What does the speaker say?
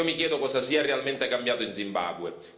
Io mi chiedo cosa sia realmente cambiato in Zimbabwe.